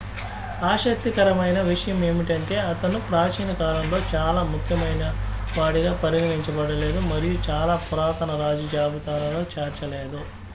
ఆసక్తికరమైన విషయం ఏమిటంటే అతను ప్రాచీన కాలంలో చాలా ముఖ్యమైనవాడిగా పరిగణించబడలేదు మరియు చాలా పురాతన రాజు జాబితాలలో చేర్చలేదు